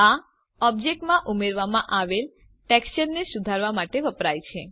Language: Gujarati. આ ઓબ્જેક્ટમાં ઉમેરવામાં આવેલ ટેકચરને સુધારવા માટે વપરાય છે